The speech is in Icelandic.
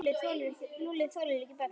Lúlli þolir ekki börn.